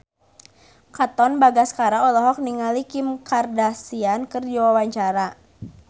Katon Bagaskara olohok ningali Kim Kardashian keur diwawancara